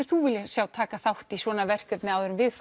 þú vilja sjá taka þátt í svona verkefni áður en við